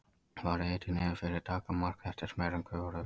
Fari hiti niður fyrir daggarmark þéttist meira en gufar upp.